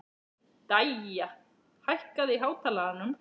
Dæja, hækkaðu í hátalaranum.